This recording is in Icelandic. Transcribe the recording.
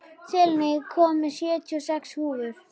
Selina, ég kom með sjötíu og sex húfur!